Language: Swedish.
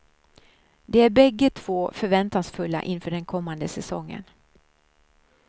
De är bägge två förväntansfulla inför den kommande säsongen.